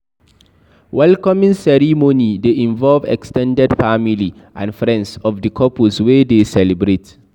welcoming ceremony de involve ex ten ded family and friends of the couples wey de celebrate